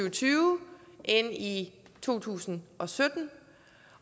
og tyve end i to tusind og sytten